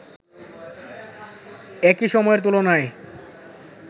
একই সময়ের তুলনায়